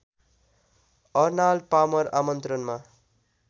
Arnold Palmer आमन्त्रणमा